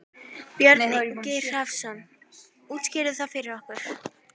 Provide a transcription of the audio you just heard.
Björn Ingi Hrafnsson: Útskýrðu það fyrir okkur?